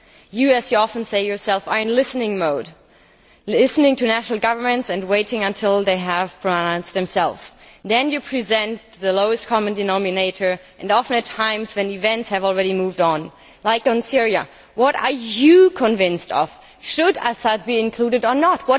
You, as you often say yourself, are in listening mode listening to national governments and waiting until they have pronounced themselves. Then you present the lowest common denominator, and often at times when events have already moved on On Syria, for example, what are you convinced of? Should Assad be included or not?